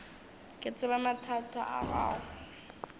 ke tseba mathata a gago